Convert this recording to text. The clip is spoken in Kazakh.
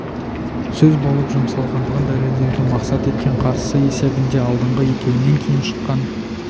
сөз болып жұмсалғандығын дәлелдеуді мақсат еткен қарсысы есебінде алдыңғы екеуінен кейін шыққан